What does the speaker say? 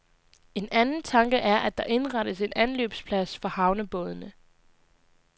En anden tanke er, at der indrettes en anløbsplads for havnebådene.